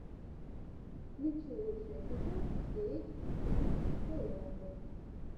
включи лучший эпизод си эйч три таиланда